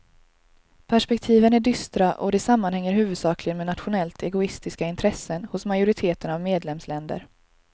Perspektiven är dystra och det sammanhänger huvudsakligen med nationellt egoistiska intressen hos majoriteten av medlemsländer.